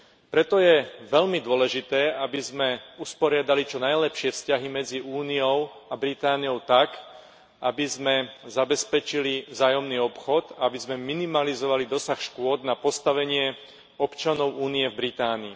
Preto je veľmi dôležité, aby sme usporiadali čo najlepšie vzťahy medzi Úniou a Britániou tak, aby sme zabezpečili vzájomný obchod, aby sme minimalizovali dosah škôd na postavenie občanov Únie v Británii.